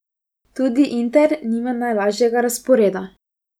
Tudi Inter nima najlažjega razporeda.